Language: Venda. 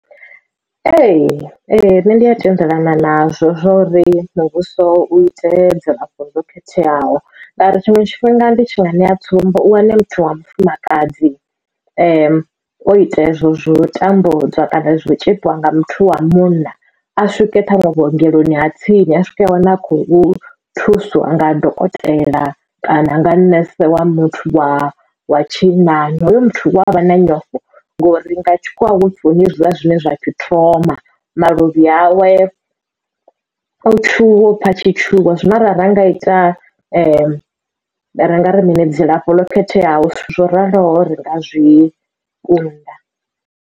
Ee nṋe ndi a tendelana nazwo zwori muvhuso u ite dzilafho ḽo khetheaho ngauri tshiṅwe tshifhinga ndi tshinga ṋea tsumbo u wane muthu wa mufumakadzi o ita hezwo zwo tambudzwa kana zwo tshipiwa nga muthu wa munna a swike ṱhaṅwe vhuongeloni ha tsini a swike a wana a khou thusiwa nga dokotela kana nga nese wa muthu wa wa tshinnani hoyo muthu wavha na nyofho ngori nga tshikhuwa hupfi huna zwiḽa zwine zwa pfhi trauma maluvhi awe o tshuwa upfa atshi tshuwa zwino ara nga ita ra nga ri ngari mini dzilafho ḽo khetheaho zwo raloho ri nga zwi kunda.